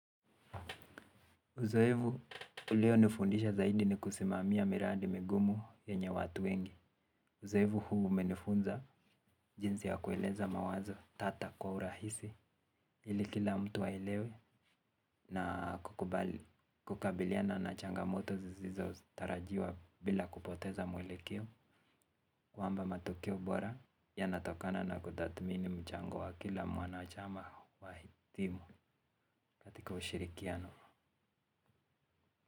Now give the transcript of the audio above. Uzoevu ulionifundisha zaidi ni kusimamia miradi migumu yenye watu wengi. Uzoevu huu umenifunza jinsi ya kueleza mawazo tata kwa urahisi ili kila mtu aelewe na kukabiliana na changamoto zizizo tarajiwa bila kupoteza mwelekeo. Kwamba matokeo bora yanatokana na kutathmini mchango wa kila mwanachama wa hi timu katika ushirikiano.